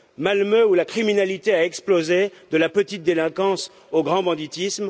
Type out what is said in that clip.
Malmö, où la criminalité a explosé, de la petite délinquance au grand banditisme